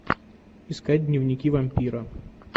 искать дневники вампира